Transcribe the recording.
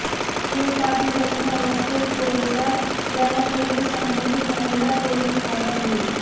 सुरेश पाटील जखमी अवस्थेत पोलिसात जाण्यापूर्वीच संबंधित महिला पोलिस ठाण्यात गेली